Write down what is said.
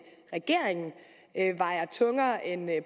regeringen vejer tungere end